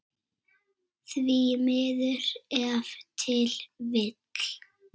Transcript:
Því miður ef til vill?